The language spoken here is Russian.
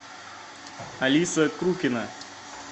алиса крупина